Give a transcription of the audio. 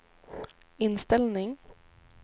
inställning